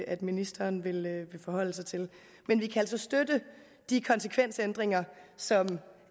at ministeren vil forholde sig til men vi kan altså støtte de konsekvensændringer som